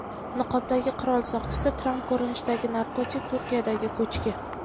Niqobdagi qirol soqchisi, Tramp ko‘rinishidagi narkotik, Turkiyadagi ko‘chki.